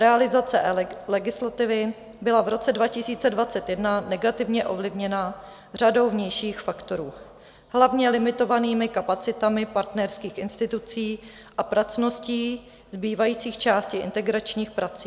Realizace eLegislativy byla v roce 2021 negativně ovlivněna řadou vnějších faktorů, hlavně limitovanými kapacitami partnerských institucí a pracností zbývajících částí integračních prací.